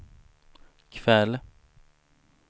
kväll